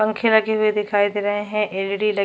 पंखे लगे हुए दिखाई दे रहै है एलईडी लगी --